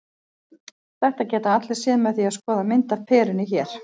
Þetta geta allir séð með því að skoða mynd af perunni hér.